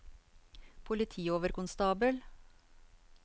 politioverkonstabel